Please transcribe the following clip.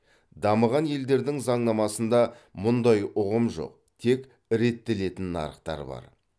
дамыған елдердің заңнамасында мұндай ұғым жоқ тек реттелетін нарықтар бар